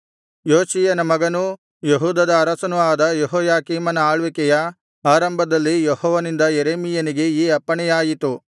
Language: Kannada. ಯೋಷೀಯನ ಮಗನೂ ಯೆಹೂದದ ಅರಸನೂ ಆದ ಯೆಹೋಯಾಕೀಮನ ಆಳ್ವಿಕೆಯ ಆರಂಭದಲ್ಲಿ ಯೆಹೋವನಿಂದ ಯೆರೆಮೀಯನಿಗೆ ಈ ಅಪ್ಪಣೆಯಾಯಿತು